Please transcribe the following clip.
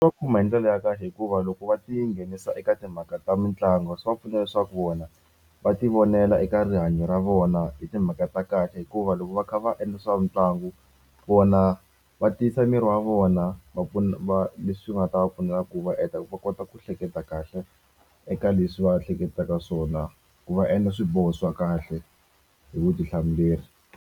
Swi va khumba hi ndlela ya kahle hikuva loko va tinghenisa eka timhaka ta mitlangu swi va pfuna leswaku vona va tivonela eka rihanyo ra vona i timhaka ta kahle hikuva loko va kha va endla swa mitlangu vona va tiyisa miri wa vona va pfuna va leswi nga ta va pfuna ku va heta va kota ku hleketa kahle eka leswi va hleketaka swona ku va endla swiboho swa kahle hi vutihlamuleri.